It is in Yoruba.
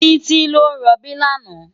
Titi ló n ròbí làná